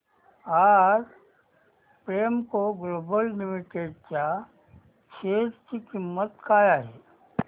आज Premco Global Limited च्या share ची किंमत काय आहे